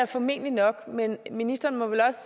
formentlig nok men ministeren må vel også